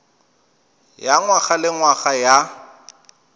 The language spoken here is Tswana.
ya ngwaga le ngwaga ya